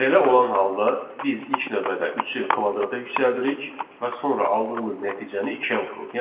Belə olan halda biz ilk növbədə üçü kvadrata yüksəldirik və sonra aldığımız nəticəni ikiyə vururuq.